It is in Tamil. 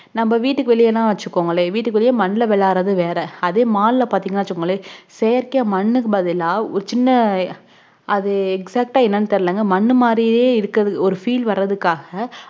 நம்ம வீட்டுக்கு வெளிய வச்சுக்கோங்களே வீட்டுக்கு வெளிய மண்ல விளையாடுறது வேற அதே mall ல பாத்திங்கனொன்னு வச்சிங்களே செயற்கை மண்க்கு பதில்லா அது சின்ன அது exact ஆ என்னனு தெரிலங்க மண்ணு மாதிரியே இருக்குறது feel வரதுக்காக